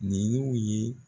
Nin y'u ye